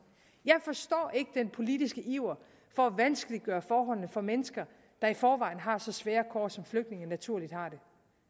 jeg forstår ikke den politiske iver for at vanskeliggøre forholdene for mennesker der i forvejen har så svære kår som flygtninge naturligt har det